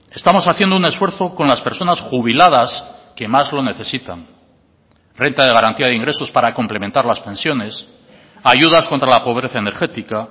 estamos haciendo un esfuerzo con las personas jubiladas que más lo necesitan renta de garantía de ingresos para complementar las pensiones ayudas contra la pobreza energética